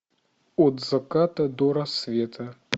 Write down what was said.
от заката до рассвета